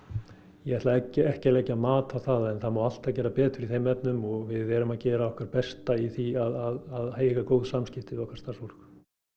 ég ætla ekki að leggja mat á það en það má alltaf gera betur í þeim efnum og við erum að gera okkar besta í því að eiga góð samskipti við okkar starfsfólk